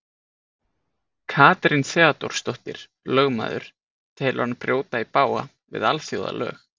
Katrín Theodórsdóttir, lögmaður, telur hann brjóta í bága við alþjóðalög.